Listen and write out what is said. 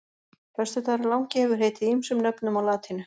Föstudagurinn langi hefur heitið ýmsum nöfnum á latínu.